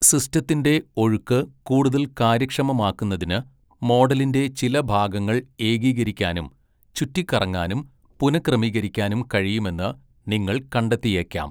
സിസ്റ്റത്തിന്റെ ഒഴുക്ക് കൂടുതൽ കാര്യക്ഷമമാക്കുന്നതിന് മോഡലിന്റെ ചില ഭാഗങ്ങൾ ഏകീകരിക്കാനും, ചുറ്റിക്കറങ്ങാനും, പുനക്രമീകരിക്കാനും കഴിയുമെന്ന് നിങ്ങൾ കണ്ടെത്തിയേക്കാം.